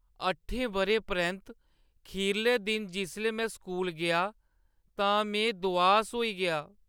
अट्ठें बʼरें परैंत्त खीरले दिन जिसलै में स्कूल गेआ तां में दुआस होई गेआ।